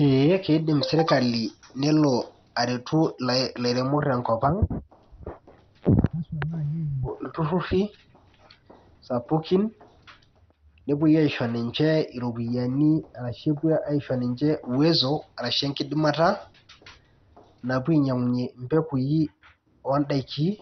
Ee keidim serkali nelo areti lairemok tenkop ang' ltururi sapukin nepuoi aisho ninche ropiyiani ashu enkidimata ashu uwezo napuo ainyangunye mpekui ondakini